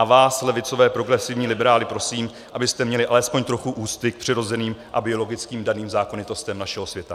A vás levicové progresivní liberály prosím, abyste měli alespoň trochu úcty k přirozeným a biologicky daným zákonitostem našeho světa.